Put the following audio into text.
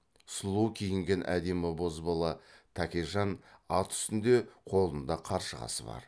сұлу киінген әдемі бозбала тәкежан ат үстінде қолында қаршығасы бар